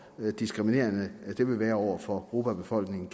diskriminerende det vil være over for grupper af befolkningen